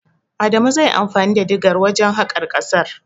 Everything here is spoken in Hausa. Adamu zai yi anfani da digar wajen haƙa ƙasar.